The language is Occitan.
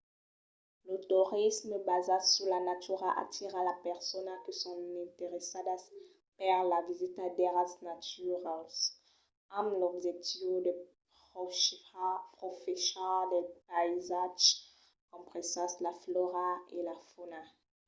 lo torisme basat sus la natura atira las personas que son interessadas per la visita d'airals naturals amb l'objectiu de profechar del païsatge compresas la flòra e la fauna